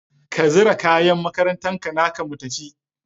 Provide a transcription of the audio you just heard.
Ka zira kayan makarantan naka mu tafi